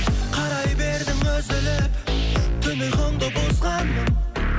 қарай бердің үзіліп түн ұйқымды бұзғаным